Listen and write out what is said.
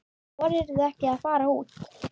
Þorirðu ekki að fara úr?